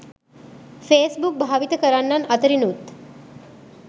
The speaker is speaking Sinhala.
ෆේස්බුක් භාවිත කරන්නන් අතරිනුත්